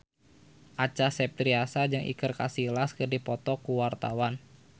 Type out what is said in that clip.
Acha Septriasa jeung Iker Casillas keur dipoto ku wartawan